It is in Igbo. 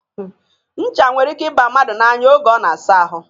Ncha nwere ike ịba mmadụ n'anya oge ọ na-asa ahụ.